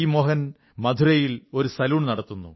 മോഹൻ മധുരയിൽ ഒരു സലൂൺ നടത്തുന്നു